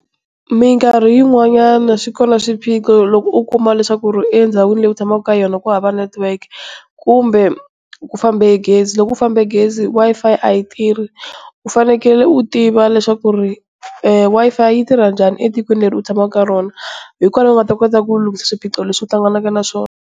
Mikarhi yin'wanyana swi kona swiphiqo loko u kuma leswaku endhawini leyi u tshamaka ka yona ku hava network, kumbe ku fambe gezi, loko ku fambe gezi Wi-Fi a yi tirhi. U fanekele u tiva leswaku Wi-Fi yi tirha njhani etikweni leri u tshamaka eka rona hikokwalaho u nga ta kota ku lunghisa swiphiqo leswi u hlanganaka na swona.